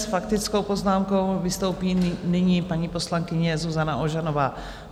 S faktickou poznámkou vystoupí nyní paní poslankyně Zuzana Ožanová.